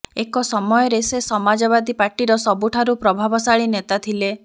ଏକ ସମୟରେ ସେ ସମାଜବାଦୀ ପାର୍ଟିର ସବୁଠାରୁ ପ୍ରଭାବଶାଳୀ ନେତା ଥିଲେ